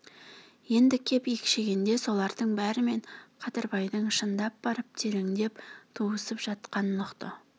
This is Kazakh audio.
енді кеп екшегенде солардың бәрімен қадырбайдың шындап барып тереңдеп туысып жатқанын ұқты